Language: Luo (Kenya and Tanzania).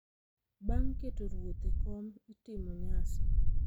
Bang’ keto ruoth e kom, itimo nyasi